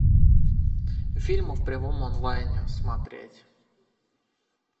фильмы в прямом онлайне смотреть